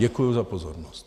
Děkuji za pozornosti.